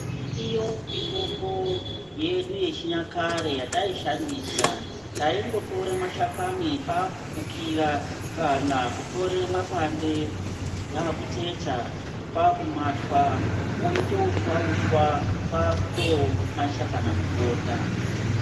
Iriyo mitombo yedu yechinyakare yataishandisa taingotore mashakani kwakufukira kana kutore mapande kwautsetsa kwakumatwa oita uswa uswa kwakumaisa kana mubota.